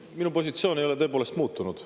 Minu positsioon ei ole tõepoolest muutunud.